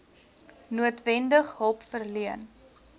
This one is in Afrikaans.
noodwendig hulp verleen